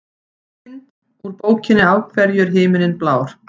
Mynd: Úr bókinni Af hverju er himinninn blár?